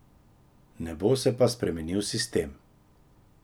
Ne bo se pa spremenil sistem.